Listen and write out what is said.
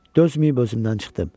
Dözməyib özümdən çıxdım.